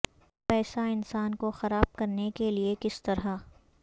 پیسہ انسان کو خراب کرنے کے لئے کس طرح